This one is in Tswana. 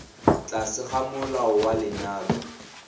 tlase ga molao wa lenyalo